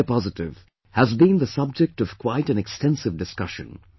indiapositive has been the subject of quite an extensive discussion